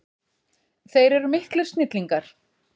Þeir eru miklir snillingar.